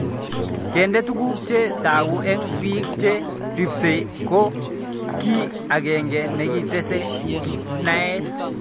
Kende tuguk che tagu eng' pik che ripsei ko kii ag'eng'e nekitese naet